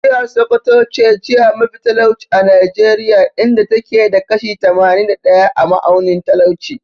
Jihar Sokoto ce jiha mafi talauci a Najeriya, inda ta ke da kashi tamanin da ɗaya a ma'aunin talauci.